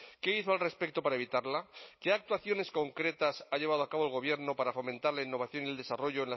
qué hizo al respecto para evitarla qué actuaciones concretas ha llevado a cabo el gobierno para fomentar la innovación y el desarrollo